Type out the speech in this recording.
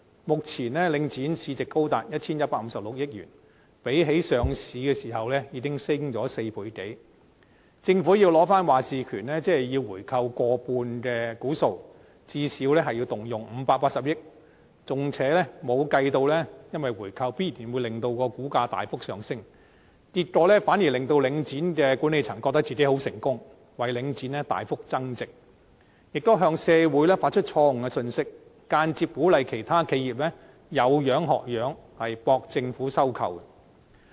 目前領展市值高達 1,156 億元，較上市的時候已經上升超過4倍，政府要取回決策權，便要購回過半數股權，最少要動用580億元，而且還未計算回購必然會令股價大幅上升，結果反而會令到領展的管理層覺得自己很成功，為領展大幅增值，亦向社會發出錯誤信息，間接鼓勵其他企業仿效，博取政府收購。